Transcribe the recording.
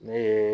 Ne ye